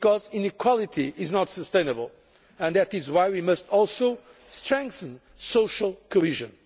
Inequality is not sustainable, and that is why we must also strengthen social cohesion.